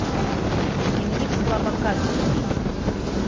дневник слабака вруби